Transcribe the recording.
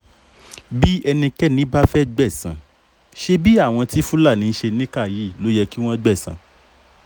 bí ẹnikẹ́ni bá fẹ́ẹ́ gbẹ̀san ṣebí àwọn tí fúlàní ń ṣe níkà yìí ló yẹ kí wọ́n gbẹ̀san